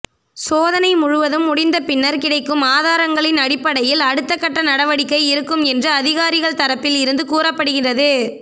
சோதனை முழுவதும் முடிந்தபின்னர் கிடைக்கும் ஆதாரங்களின் அடிப்படையில் அடுத்தகட்ட நடவடிக்கை இருக்கும் என்று அதிகாரிகள் தரப்பில் இருந்து கூறப்படுகிறது